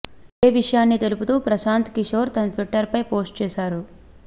ఇదే విషయాన్ని తెలుపుతూ ప్రశాంత్ కిషోర్ తన ట్విటర్పై పోస్టు చేశారు